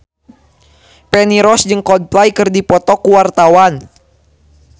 Feni Rose jeung Coldplay keur dipoto ku wartawan